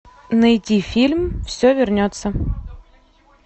найти фильм все вернется